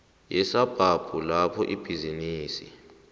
yesabhabhu lapho ibhizinisi